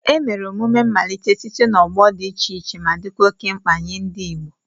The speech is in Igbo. Emere emume mmalite site n'ọgbọ dị iche iche ma dịkwa oke mkpa nye ndị Igbo.